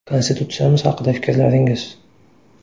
Konstitutsiyamiz haqida fikrlaringiz.